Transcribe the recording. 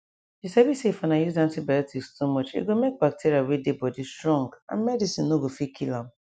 you sabi sayif una use antibiotics too muche go make bacteria wey dey body strong and medicine no go fit kill am